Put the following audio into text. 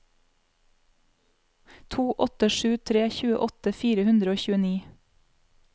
to åtte sju tre tjueåtte fire hundre og tjueni